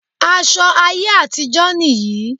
Aṣọ ayé àtijó nì yí.